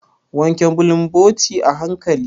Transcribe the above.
Wanke bulumboti a hanƙali.